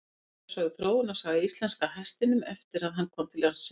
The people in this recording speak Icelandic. Þar er sögð þróunarsaga íslenska hestinum eftir að hann kom til landsins.